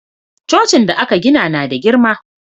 Cocin da aka gina na da girma